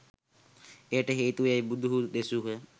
එයට හේතුව යැයි බුදුහු දෙසූහ.